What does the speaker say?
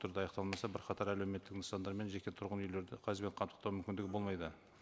түрде аяқталмаса бірқатар әлеуметтік нысандар мен жеке тұрғын үйлерді газбен мүмкіндігі болмайды